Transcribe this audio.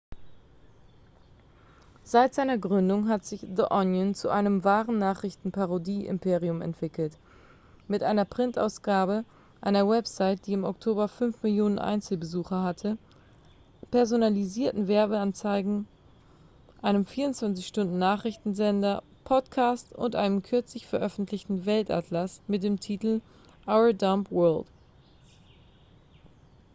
seit seiner gründung hat sich the onion zu einem wahren nachrichtenparodie-imperium entwickelt mit einer printausgabe einer website die im oktober 5 000 000 einzelbesucher hatte personalisierten werbeanzeigen einem 24-stunden-nachrichtensender podcasts und einem kürzlich veröffentlichten weltatlas mit dem titel our dumb world